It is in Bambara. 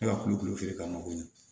Ne ka kulukulu feere ka mako ɲɛ